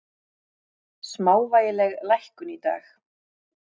Smávægileg lækkun í dag